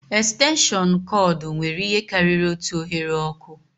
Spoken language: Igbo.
Estenshịọnụ kọọdụ nwere ihe karịrị otu oghere ọkụ